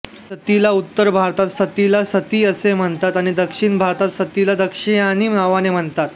सतीला उत्तर भारतात सतीला सती असे म्हणतात आणि दक्षिण भारतात सतीला दक्षायानी नावाने म्हणतात